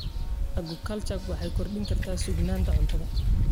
Aquaculture waxay kordhin kartaa sugnaanta cuntada.